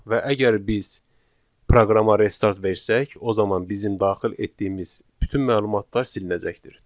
Və əgər biz proqrama restart versək, o zaman bizim daxil etdiyimiz bütün məlumatlar silinəcəkdir.